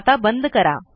आता बंद करा